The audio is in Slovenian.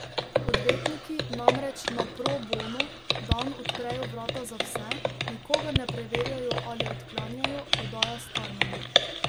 Odvetniki namreč na pro bono dan odprejo vrata za vse, nikogar ne preverjajo ali odklanjajo, dodaja Starman.